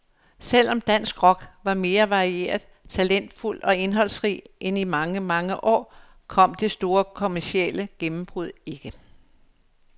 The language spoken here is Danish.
Selv om dansk rock var mere varieret, talentfuld og indholdsrig end i mange, mange år, kom det store kommercielle gennembrud ikke.